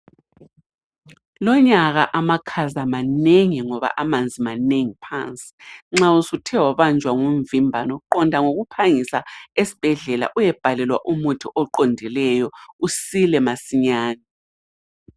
Lonyaka amakhaza manengi ngoba amanzi manengi phansi, nxa usuthe wabanjwa ngumvimbano qonda ngokuphangisa esibhedlela uyebhalelwa umuthi oqondileyo usile masinyane.